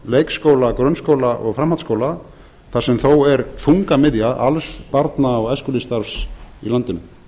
leikskóla grunnskóla og framhaldsskóla þar sem þó er þungamiðja alls barna og æskulýðsstarfs í landinu